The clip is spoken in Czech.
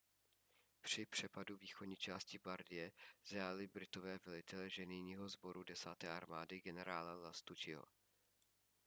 při přepadu východní části bardie zajali britové velitele ženijního sboru desáté armády generála lastucciho